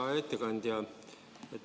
Hea ettekandja!